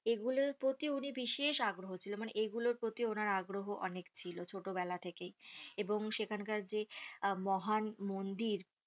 এগুলোর পতি উনি বিশেষ আগ্রহ ছিল মানে এগুলোর পতি ওনার আগ্রহ অনেক ছিল ছোট বেলা থেকেই এবং সেখানকার যে আহ মহান মন্দির